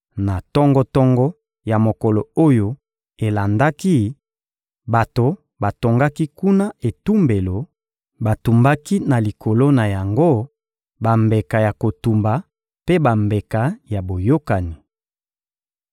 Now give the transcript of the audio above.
Na tongo-tongo ya mokolo oyo elandaki, bato batongaki kuna etumbelo; batumbaki na likolo na yango bambeka ya kotumba mpe bambeka ya boyokani.